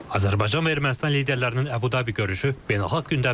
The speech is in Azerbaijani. Azərbaycan və Ermənistan liderlərinin Abu Dhabi görüşü beynəlxalq gündəmdədir.